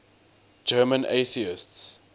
german atheists